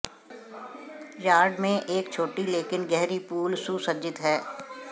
yard में एक छोटी लेकिन गहरी पूल सुसज्जित है